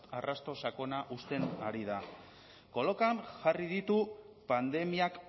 arrasto sakona uzten ari da kolokan jarri ditu pandemiak